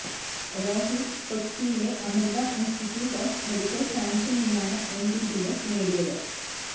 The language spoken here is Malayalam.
രോഹിതു കൊച്ചിയിലെ അമൃത ഇൻസ്റ്റിറ്റ്യൂട്ട് ഓഫ് മെഡിക്കൽ സയൻസിൽ നിന്നാണ് എംബിബിഎസ് നേടിയത്